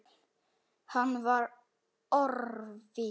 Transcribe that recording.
Hann var orðinn.